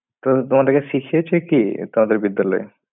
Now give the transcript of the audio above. তো তোমাদেরকে শিখিয়েছে কি? তোমাদের বিদ্যালয়ে?